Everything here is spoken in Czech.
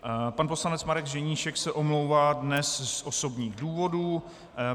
Pan poslanec Marek Ženíšek se omlouvá dnes z osobních důvodů.